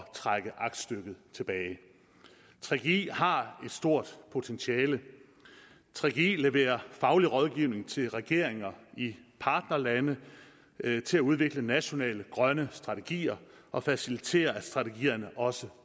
trække aktstykket tilbage gggi har et stort potentiale gggi leverer faglig rådgivning til regeringer i partnerlande til udvikling af nationale grønne strategier og faciliterer at strategierne også